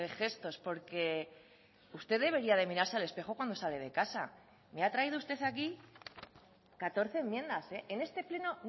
gestos porque usted debería de mirarse al espejo cuando sale de casa me ha traído usted aquí catorce enmiendas en este pleno